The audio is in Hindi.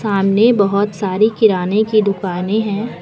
सामने बहोत सारी किराने की दुकानें हैं।